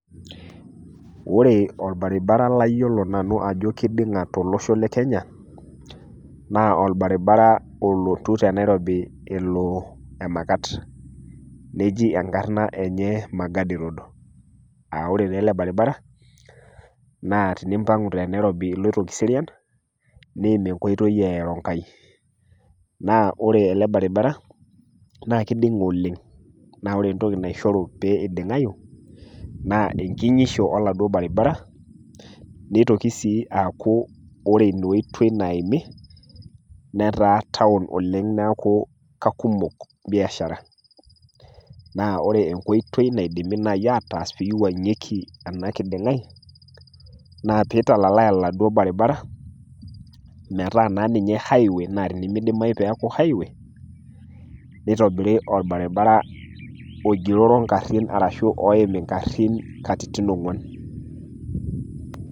Ore olbaribara layiolo nanu ajo keiding'a tolosho le Kenya, naa olbaribara olotu te Nairobi alo Emakat, neji enkarna enye Magadi Road. Ore taa ele baribara, naa tenimpang'u te Nairobi iloito Kiserian, niim enkoitoi e Ronkai. Naa ore ele baribara, naakeiding'e oleng'. Naa ore entoki naishoru pee keiding'ayu, naa enkinyiisho oladuo baribara, neitoki sii aaku ore Ina oitoi naimi netaa taun oleng' neaku kakumok biashara. Naa ore enkoitoi naidim naji ataas pee eiwang'ieki ena kiding'ai, naa pee eitalalai oladuo baribara meta taa ninye highway metaa ninye keidimi pee eaku highway neitobiri olbaribara ogiroro ingarin arashu oim ingarin katitin ong'uan.